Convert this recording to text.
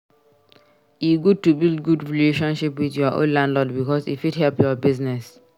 E good to build good relationship with your landlord bicos e fit help your business.